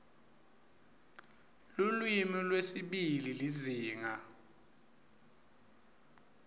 lulwimi lwesibili lizinga